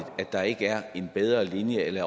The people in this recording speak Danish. at der ikke er en bedre linje eller i